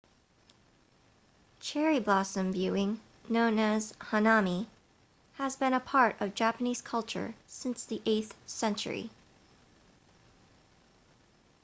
cherry blossom viewing known as hanami has been a part of japanese culture since the 8th century